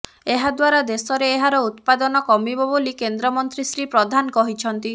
ଏହାଦ୍ୱାରା ଦେଶରେ ଏହାର ଉତ୍ପାଦନ କମିବ ବୋଲି କେନ୍ଦ୍ରମନ୍ତ୍ରୀ ଶ୍ରୀ ପ୍ରଧାନ କହିଛନ୍ତି